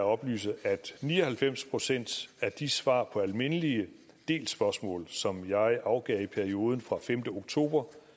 oplyse at ni og halvfems procent af de svar på almindelige delspørgsmål som jeg afgav i perioden fra femte oktober